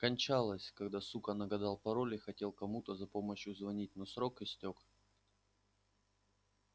кончалась когда сука нагадал пароль и хотел кому-то за помощью звонить но срок истёк